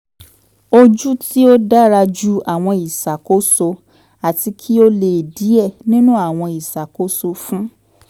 oju ti o dara ju awọn iṣakoso ati ki o le diẹ ninu awọn iṣakoso fun